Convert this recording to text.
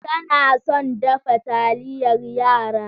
Tana son dafa taliyar yara.